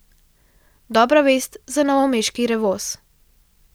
Dobra vest za novomeški Revoz.